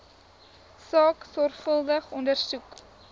saak sorgvuldig ondersoek